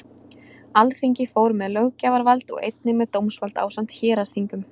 Alþingi fór með löggjafarvald og einnig með dómsvald ásamt héraðsþingum.